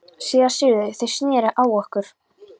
SÉRA SIGURÐUR: Þeir sneru á okkur.